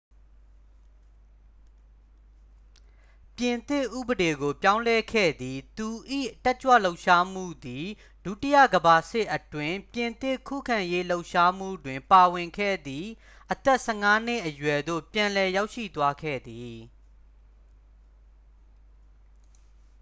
ပြင်သစ်ဥပဒေကို ပြောင်းလဲခဲ့သည် သူ၏ တက်ကြွလှုပ်ရှားမှုသည် ဒုတိယကမ္ဘာစစ်အတွင်း ပြင်သစ်ခုခံရေးလှုပ်ရှားမှုတွင် ပါဝင်ခဲ့သည့် အသက် 15 နှစ်အရွယ်သို့ ပြန်လည်ရောက်ရှိသွားခဲ့သည်